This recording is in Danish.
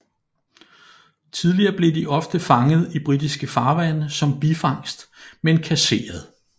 Tidligere blev de ofte fanget i britiske farvande som bifangst men kasseret